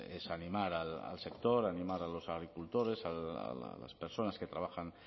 es animar al sector animar a los agricultores a las personas que trabajan